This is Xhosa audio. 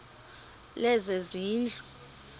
lezezindlu